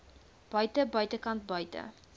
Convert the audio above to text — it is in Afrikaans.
buite buitekant buite